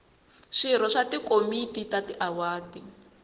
swirho swa tikomiti ta tiwadi